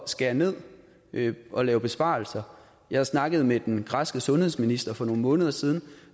skære ned og lave besparelser jeg snakkede med den græske sundhedsminister for nogle måneder siden